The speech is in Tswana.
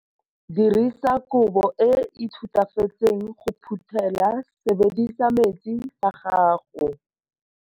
Dirisa kobo e e thutafetseng go phuthela sebedisa metsi sa gago.